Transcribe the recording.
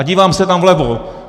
A dívám se tam vlevo.